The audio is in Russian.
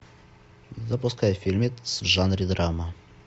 запускай фильмец в жанре драма